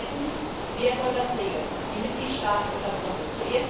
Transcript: Und zweitens Wer soll das regeln die Mitgliedstaaten oder Brüssel?